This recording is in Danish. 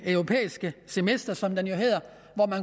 det europæiske semester som det jo hedder